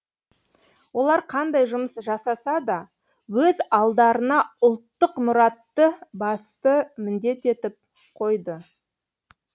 олар қандай жұмыс жасаса да өз алдарына ұлттық мұратты басты міндет етіп қойды